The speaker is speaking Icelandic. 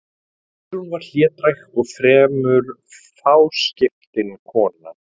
Guðrún var hlédræg og fremur fáskiptin kona.